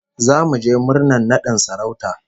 Zamu je murnar nadin sarauta